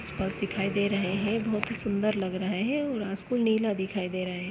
आसपास दिखाई दे रहे हैं बहुत ही सुंदर लग रहे हैं और आपको नीला दिखाई दे रहा है।